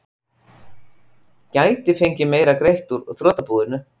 Gæti fengið meira greitt úr þrotabúinu